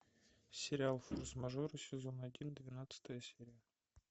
сериал форс мажоры сезон один двенадцатая серия